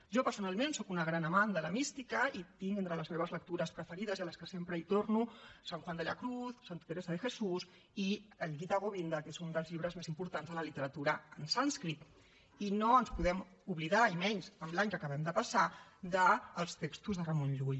jo personalment sóc una gran amant de la mística i tinc entre les meves lectures preferides a les que sempre torno san juan de la cruz santa teresa de jesús i el gita govinda que és un dels llibres més importants de la literatura en sànscrit i no ens podem oblidar i menys en l’any que acabem de passar dels textos de ramon llull